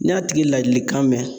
N'i y'a tigi ladilikan mɛn